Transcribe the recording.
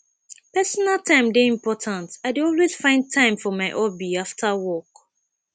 personal time dey important i dey always find time for my hobby after work